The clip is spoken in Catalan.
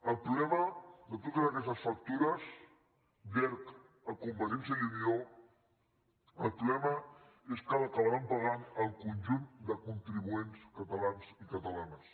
el problema de totes aquestes factures d’erc a convergència i unió el problema és que ho acabaran pagant el conjunt de contribuents catalans i catalanes